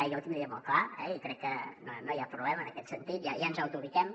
jo ho tindria molt clar eh i crec que no hi ha problema en aquest sentit ja ens autoubiquem